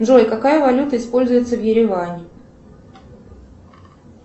джой какая валюта используется в ереване